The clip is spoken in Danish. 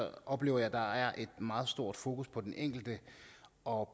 oplever jeg at der er et meget stort fokus på den enkelte og